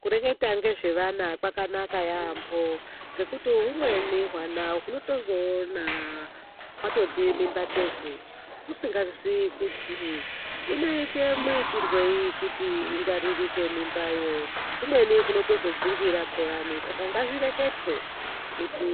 Kureketa ngezvevana kwakanaka yaambo ngekuti humweni hwana unotozoona hwatoti mimba tegu usingatoziyi kuti inoite muitirwei kuti ingwaririke mimba yo. Umweni unotozodzungira phiyani, saka ngazvireketwe kuti